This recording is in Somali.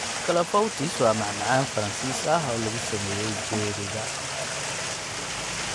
Clafoutis waa macmacaan Faransiis ah oo lagu sameeyay jeeriga.